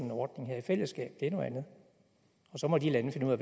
en ordning her i fællesskab det er noget andet og så må de lande finde ud af